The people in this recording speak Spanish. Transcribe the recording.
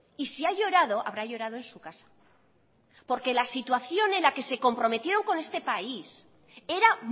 y si ha llorado habrá llorado en su casa porque la situación en la que se comprometieron con este país era